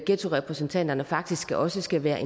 ghettorepræsentanterne faktisk også skal være